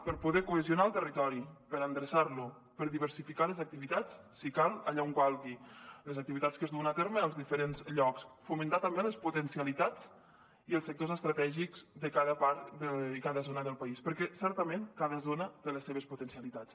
per poder cohesionar el territori per endreçar lo per diversificar les activitats si cal allà on calgui les activitats que es duen a terme als diferents llocs fomentar també les potencialitats i els sectors estratègics de cada part i cada zona del país perquè certament cada zona té les seves potencialitats